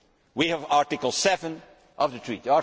We have Article 7 of the Treaty.